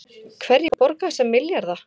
Hverjir borga þessa milljarða